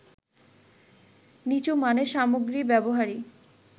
নিচু মানের সামগ্রী ব্যবহারই